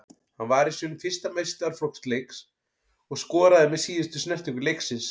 Hann var í sínum fyrsta meistaraflokksleik og skoraði með síðustu snertingu leiksins.